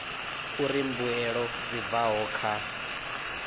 uri mbuelo dzi bvaho kha